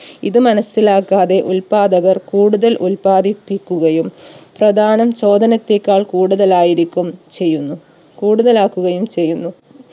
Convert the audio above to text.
ഇത് മനസ്സിലാക്കാതെ ഉത്പാദകർ കൂടുതൽ ഉത്പാദിപ്പിക്കുകയും പ്രധാനം ചോദനത്തേക്കാൾ കൂടുതലായിരിക്കും ചെയ്യുന്നു കൂടുതലാക്കുകയും ചെയ്യുന്നു